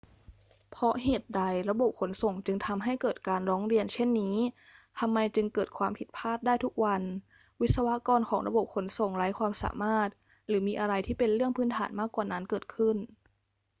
เพราะเหตุใดระบบขนส่งจึงทำให้เกิดการร้องเรียนเช่นนี้ ทำไมจึงเกิดความผิดพลาดได้ทุกวัน วิศวกรของระบบขนส่งไร้ความสามารถ หรือมีอะไรที่เป็นเรื่องพื้นฐานมากกว่านั้นเกิดขึ้น